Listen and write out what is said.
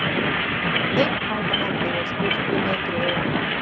Einn fanganna biður stúlkunni griða.